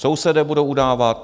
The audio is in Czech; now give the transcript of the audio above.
Sousedé budou udávat?